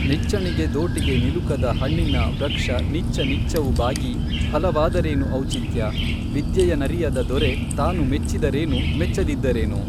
ನಿಚ್ಚಣಿಗೆ ದೋಟಿಗೆ ನಿಲುಕದ ಹಣ್ಣಿನ ವೃಕ್ಷನಿಚ್ಚ ನಿಚ್ಚವು ಬಾಗಿ ಫಲವಾದರೇನುಔಚಿತ್ಯ ವಿದ್ಯೆಯನರಿಯದ ದೊರೆ ತಾನುಮೆಚ್ಚಿದರೇನು ಮೆಚ್ಚದಿದ್ದರೇನು